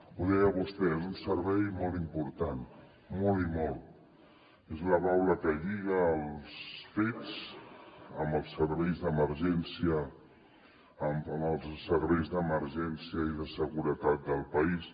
ho deia vostè és un servei molt important molt i molt és la baula que lliga els fets amb els serveis d’emergència i de seguretat del país